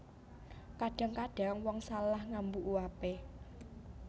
Kadhang kadhang wong salah ngambu uape